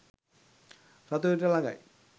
රතු ඉරට ලඟයි